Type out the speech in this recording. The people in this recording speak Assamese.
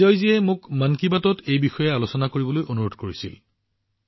বিজয়জীয়ে অনুৰোধ কৰিছিল যে মই এইবিষয়ে মন কী বাতত যাতে আলোচনা কৰোঁ